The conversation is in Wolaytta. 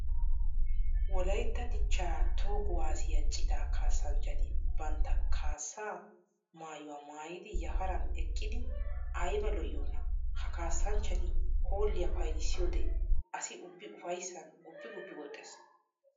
Wolaytta dicha toho kuwasiya cita kaassanchchatti bantta kaasa maayuwa maayiddi yafaran eqiddi aybba lo'iyoona! Ha kaassanchchatti hoolliya payddissiyode asi ubbi ufayssan guppi guppi woxxes.